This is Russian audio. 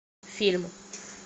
фильм